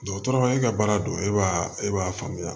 Dɔgɔtɔrɔ e ka baara don e b'a e b'a faamuya